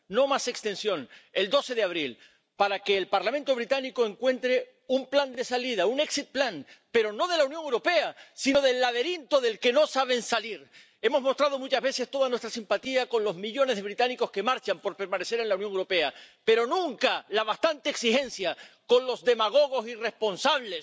No más extensión —el 12 de abril— para que el Parlamento británico encuentre un plan de salida —un pero no de la Unión Europea, sino del laberinto del que no saben salir. Hemos mostrado muchas veces toda nuestra simpatía con los millones de británicos que marchan por permanecer en la Unión Europea, pero nunca la bastante exigencia con los demagogos irresponsables